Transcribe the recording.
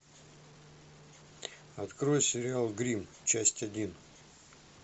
открой сериал гримм часть один